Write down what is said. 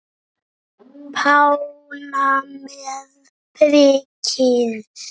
Pálína með prikið